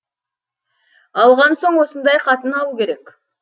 алған соң осындай қатын алу керек